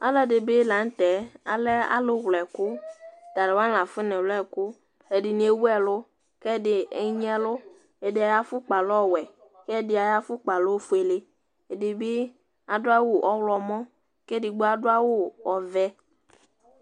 Alʋ ɛdi bi la n'tɛ alɛ alʋ wl'ɛkʋ, atalʋwani l'afɔ na wlɛ ɛkʋ Ɛdini ewu ɛlʋ, k'ɛdi agni ɛlʋ Ɛdi ay'afʋkpa lɛ ɔwɛ, k'ɛdi ay'afʋkpa lɛ ofuele, ɛdi bi adʋ awʋ ɔɣlɔmɔ, k'edigbo adʋ awʋ ɔvɛ